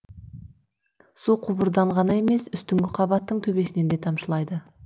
су құбырдан ғана емес үстіңгі қабаттың төбесінен де тамшылайды